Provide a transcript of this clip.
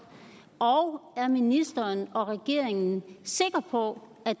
og er ministeren og regeringen sikre på at